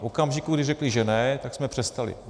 V okamžiku, kdy řekli, že ne, tak jsme přestali.